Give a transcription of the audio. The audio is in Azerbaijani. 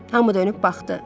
Hamı dönüb baxdı.